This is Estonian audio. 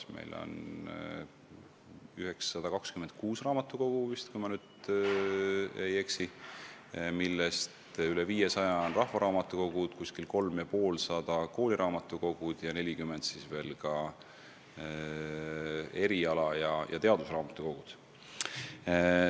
Kui ma ei eksi, siis Eestis on 926 raamatukogu, millest veidi rohkem kui 500 on rahvaraamatukogud, umbes 350 kooliraamatukogud ning 40 eriala- ja teadusraamatukogud.